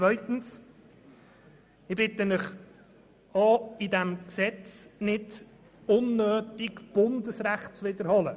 Zweitens bitte ich Sie, in diesem Gesetz nicht unnötig Bundesrecht zu wiederholen.